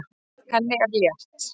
Henni er létt.